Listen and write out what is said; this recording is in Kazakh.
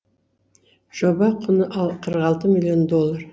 жоба құны қырық алты миллион доллар